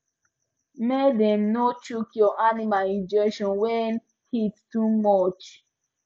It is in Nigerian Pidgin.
make dem no chook your animal injection when heat too much